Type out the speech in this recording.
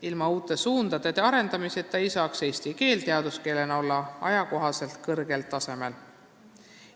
Ilma uute suundade arendamiseta ei saaks eesti keel teaduskeelena olla ajakohaselt kõrgel tasemel.